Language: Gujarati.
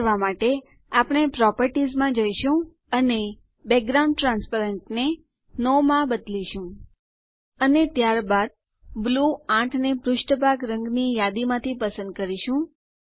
આ કરવાં માટે આપણે પ્રોપર્ટીઝમાં જઈશું અને અને બેકગ્રાઉન્ડ ટ્રાન્સપેરન્ટ ને નો માં બદલીશું અને ત્યારબાદ બ્લૂ ૮ ને પુષ્ઠભાગ રંગની યાદીમાંથી પસંદ કરીશું